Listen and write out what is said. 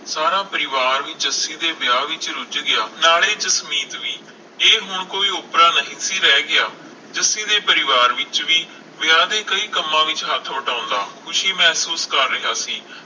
ਸਾਰਾ ਪਰਿਵਾਰ ਜੱਸੀ ਦੇ ਵਿਆਹ ਵਿਚ ਰੁਝ ਗਿਆ ਸਾਰੇ ਜਸਮੀਤ ਵੀ ਇਹ ਹੁਣ ਕੋਈ ਓਪਰਾ ਨਹੀਂ ਸੀ ਰਹਿ ਗਿਆ ਜੱਸੀ ਦੇ ਪਰਿਵਾਰ ਵਿਚ ਵੀ ਵਿਆਹ ਦੇ ਕਈ ਕੰਮਾਂ ਵਿਚ ਹੱਥ ਵਟਾਉਂਦਾ ਖੁਸ਼ੀ ਮਹਿਸੂਸ ਕਰ ਰਿਹਾ ਸੀ